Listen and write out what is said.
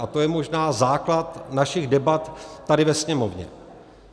A to je možná základ našich debat tady ve Sněmovně.